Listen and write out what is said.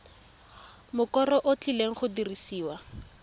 mokoro o tlileng go dirisiwa